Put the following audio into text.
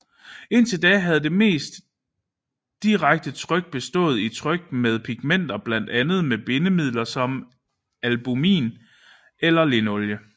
Indtil da havde det mest direkte tryk bestået i tryk med pigmenter blandet med bindemidler som albumin eller linolie